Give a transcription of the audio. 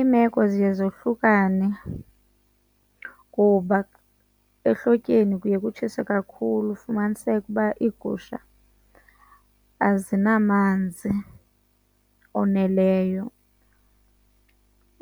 Iimeko ziye zohlukane kuba ehlotyeni kuye kutshise kakhulu ufumaniseke uba iigusha azinamanzi oneleyo.